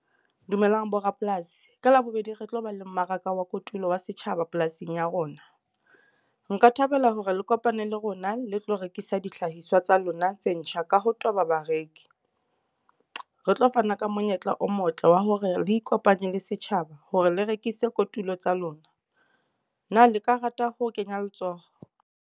Dumelang borapolasi ka labobedi re tlo ba le mmaraka wa kotulo wa setjhaba polasing ya rona. Nka thabela hore le kopane le rona le tlo rekisa dihlahiswa tsa lona tse ntjha ka ha toba bareki. Re tlo fana ka monyetla o motle wa hore re ikopanye le setjhaba hore le rekisitse kotulo tsa lona. Na le ka rata ho kenya letsoho?